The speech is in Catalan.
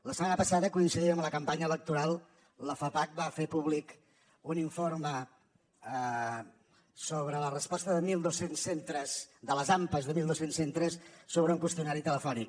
la setmana passada coincidint amb la campanya electoral la fapac va fer públic un informe sobre la resposta de mil dos cents centres de les ampas de mil dos cents centres sobre un qüestionari telefònic